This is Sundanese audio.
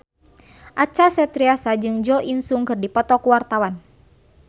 Acha Septriasa jeung Jo In Sung keur dipoto ku wartawan